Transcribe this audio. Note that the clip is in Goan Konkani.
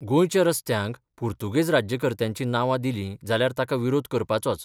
गोंयच्या रस्त्यांक पुर्तुगेज राज्यकर्त्यांची नांवां दिलीं जाल्यार ताका विरोध करपाचोच.